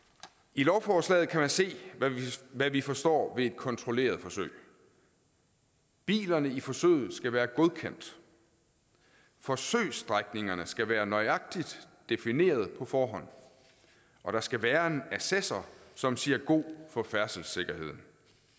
i lovforslaget kan man se hvad vi forstår ved et kontrolleret forsøg bilerne i forsøget skal være godkendt forsøgsstrækningerne skal være nøjagtigt defineret på forhånd og der skal være en assessor som siger god for færdselssikkerheden